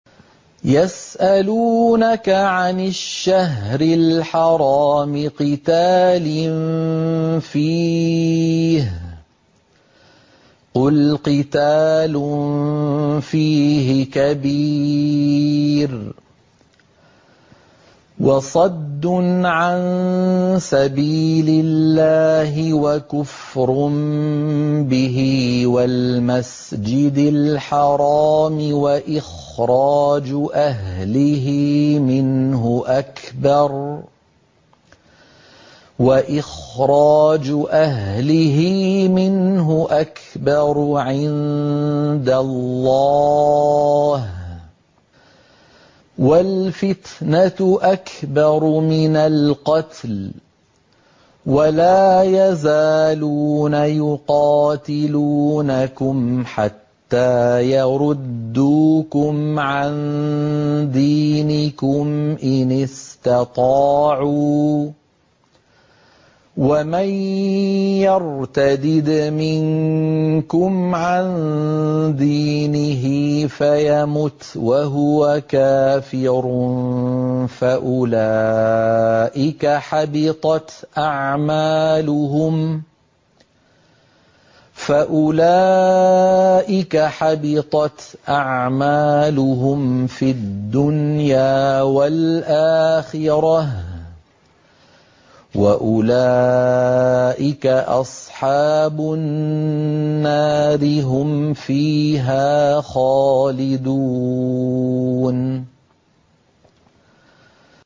يَسْأَلُونَكَ عَنِ الشَّهْرِ الْحَرَامِ قِتَالٍ فِيهِ ۖ قُلْ قِتَالٌ فِيهِ كَبِيرٌ ۖ وَصَدٌّ عَن سَبِيلِ اللَّهِ وَكُفْرٌ بِهِ وَالْمَسْجِدِ الْحَرَامِ وَإِخْرَاجُ أَهْلِهِ مِنْهُ أَكْبَرُ عِندَ اللَّهِ ۚ وَالْفِتْنَةُ أَكْبَرُ مِنَ الْقَتْلِ ۗ وَلَا يَزَالُونَ يُقَاتِلُونَكُمْ حَتَّىٰ يَرُدُّوكُمْ عَن دِينِكُمْ إِنِ اسْتَطَاعُوا ۚ وَمَن يَرْتَدِدْ مِنكُمْ عَن دِينِهِ فَيَمُتْ وَهُوَ كَافِرٌ فَأُولَٰئِكَ حَبِطَتْ أَعْمَالُهُمْ فِي الدُّنْيَا وَالْآخِرَةِ ۖ وَأُولَٰئِكَ أَصْحَابُ النَّارِ ۖ هُمْ فِيهَا خَالِدُونَ